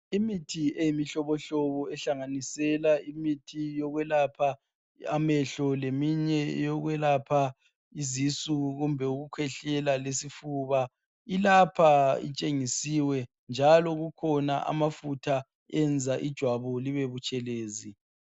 Imithi eyimihlobohlobo, ehlanganisela imithi yokwelapha amehlo, lemihye yokwelapha izisu kumbe ukukhwehlela, lesifuba. Ilapha, itshengisiwe, njalo kukhona amafutha enza ijwabu libe butshelezi.